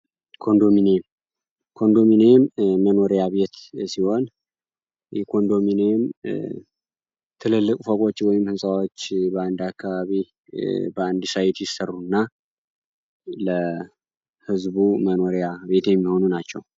ኮንዶሚኒየም ኮንዶሚኒየም የመኖሪያ ቤት ሲሆን፤ የኮንዶሚኒዬም ትልልቆቹ ወይም ሕንፃዎችን በ 1 አካባቢ በአንድ ሳይት ይሰሩና ህዝቡ ለህዝቡ መኖሪያ ቤት የሚሆኑ ናቸው።